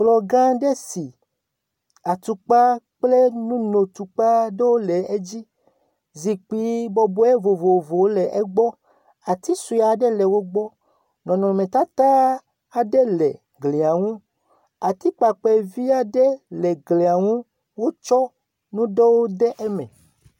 Kplɔ gã aɖe si atukpa kple nunotukpa ɖewo le edzi, zikpui bɔbɔe vovovowo le egbɔ, ati sue aɖe le wo gbɔ, nɔnɔmetata aɖe le glia ŋu. Atikpakpɛ vi aɖe le glia ŋu, wotsɔ nu ɖewo de eme.